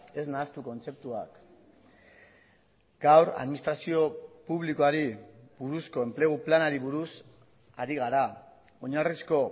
ez nahastu kontzeptuak gaur administrazio publikoari buruzko enplegu planari buruz ari gara oinarrizko